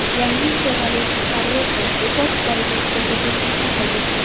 Yangi Chevrolet Corvette rekord darajadagi tezlikni qayd etdi.